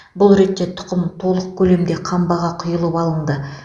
бұл ретте тұқым толық көлемде қамбаға құйып алынды